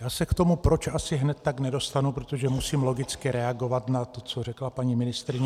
Já se k tomu proč asi hned tak nedostanu, protože musím logicky reagovat na to, co řekla paní ministryně.